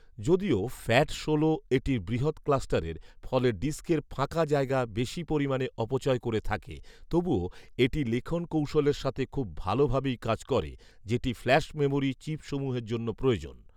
যদিও "ফ্যাট ষোল" এটির বৃহৎ "ক্লাস্টারের" ফলে ডিস্কের ফাঁকা জায়গা বেশি পরিমানে অপচয় করে থাকে, তবুও এটি লিখন কৌশলের সাথে খুব ভালভাবেই কাজ করে যেটি ফ্ল্যাশ মেমোরি চিপসমূহের জন্য প্রয়োজন